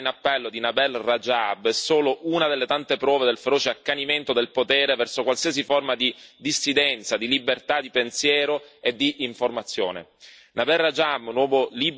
La recente conferma della condanna in appello di Nabeel Rajab è solo una delle tante prove del feroce accanimento del potere verso qualsiasi forma di dissidenza, di libertà di pensiero e di informazione.